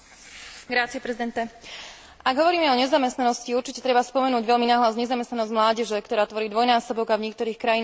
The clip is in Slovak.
Ak hovoríme o nezamestnanosti, určite treba spomenúť veľmi nahlas nezamestnanosť mládeže, ktorá tvorí dvojnásobok, a v niektorých krajinách štvornásobok európskeho priemeru.